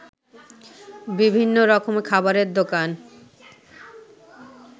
বিভিন্ন রকমের খাবারের দোকান